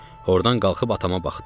Ordan qalxıb atama baxdım.